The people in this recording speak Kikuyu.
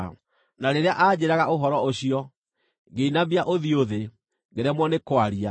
Na rĩrĩa aanjĩĩraga ũhoro ũcio, ngĩinamia ũthiũ thĩ, ngĩremwo nĩ kwaria.